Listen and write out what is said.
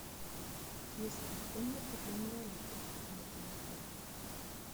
есть ли комната для инвалидов в этом отеле